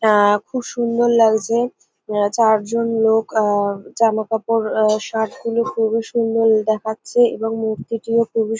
আ খুব সুন্দর লাগছে আ চারজন লোক আ জামাকাপড় আ শার্ট -গুলো খুবই সুন্দর দেখাচ্ছে এবং মূর্তিটিও খুবই--